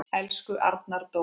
Elsku Arnar Dór.